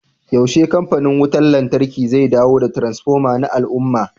yaushe kamfanin wutar lantarki zai dawo da transfoma na al'umma